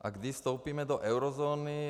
A kdy vstoupíme do eurozóny.